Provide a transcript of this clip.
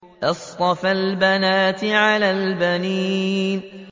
أَصْطَفَى الْبَنَاتِ عَلَى الْبَنِينَ